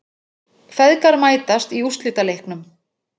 Feðgar mætast í úrslitaleiknum